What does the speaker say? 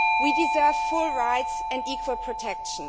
We deserve full rights and equal protection.